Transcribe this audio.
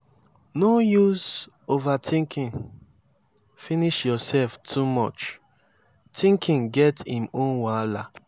no use overtinking finish yurself too much tinking get im own wahala